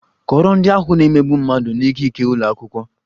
Kọọrọ ndị ahụ na - emegbu mmadụ n'ikike ụlọ akwụkwọ!